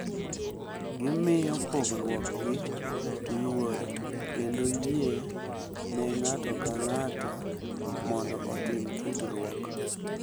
Gimiyo pogruokgi luor kendo yie ne ng’ato ka ng’ato mondo otim tudruok .